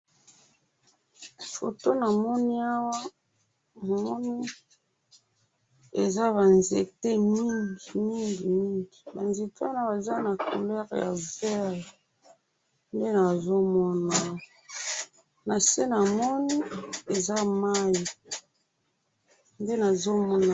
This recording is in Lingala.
Photo namoni awa ,namoni eza ba nzete mingi ,ba nzete wana eza na couleur ya vert nde nazo ona awa na se namoni eza mayi nde nazo mona